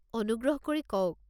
অনুগ্ৰহ কৰি কওক।